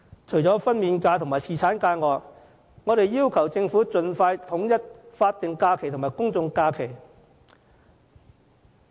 除了分娩假與侍產假，我們要求政府盡快統一法定假期及公眾假期。